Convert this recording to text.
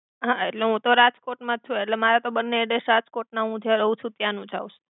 હા એટ્લે હુ તો રાજકોટ માજ છુ એટ્લે મારે તો બને એડ્રેસ્સ રાજ્કોટ ના હુ જ્યા રવ છુ ત્યા નુજ આવ્સે આવ્સે